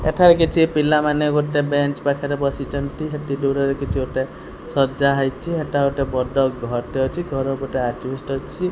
ଏଠାରେ କିଛି ପିଲାମାନେ ଗୋଟେ ବେଞ୍ଚ ପାଖରେ ବସିଛନ୍ତି ସେଠି ଦୂରରେ କିଛି ଗୋଟେ ସଜ୍ଜା ହେଇଛି ସେଠି ଗୋଟେ ବଡ଼ ଘର ଟେ ଅଛି ଘରେ ଗୋଟେ ଅଜବେଷ୍ଟ୍ ଅଛି।